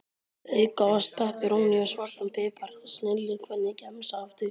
Auka ost, pepperóní og svartan pipar, snilli Hvernig gemsa áttu?